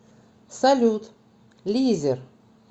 салют лизер